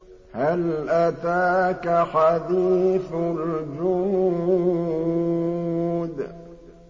هَلْ أَتَاكَ حَدِيثُ الْجُنُودِ